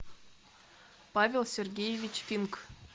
павел сергеевич пинк